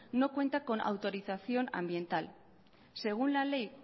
no cuenta con autorización ambiental según la ley